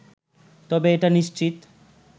তবে এটা নিশ্চিত